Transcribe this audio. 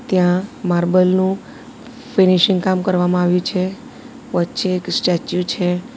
ત્યાં માર્બલ નું ફિનિશિંગ કામ કરવામાં આવ્યું છે વચ્ચે એક સ્ટેચ્યુ છે.